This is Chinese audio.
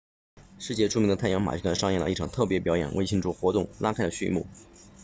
世界著名的太阳马戏团上演了一场特别表演为庆祝活动拉开了序幕